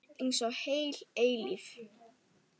Einsog heil eilífð.